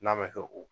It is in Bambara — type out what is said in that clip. N'a bɛ kɛ o